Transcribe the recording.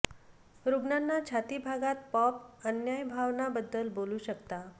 रुग्णांना छाती भागात पॉप अन्याय भावना बद्दल बोलू शकता